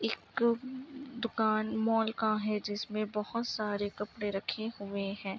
एक दुकान मॉल का है। जिसमे बहुत सारे कपड़े रखे हुए हैं।